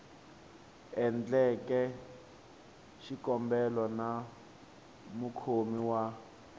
endleke xikombelo na mukhomi wa